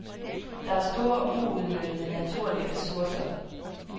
Der er store uudnyttede naturlige ressourcer.